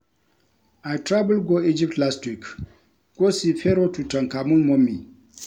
I travel go Egypt last week go see Pharoah Tutankhamun mummy